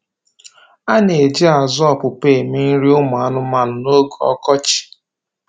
Ana-eji azụ ọpụpa eme nri ụmụ anụmanụ na oge ọkọchi